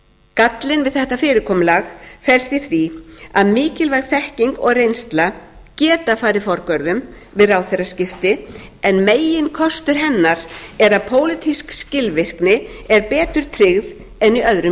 gallinn við þetta fyrirkomulag felst í að mikilvæg þekking og reynsla geta farið forgörðum við ráðherraskipti en meginkostur hennar er að pólitísk skilvirkni er betur tryggð en í öðrum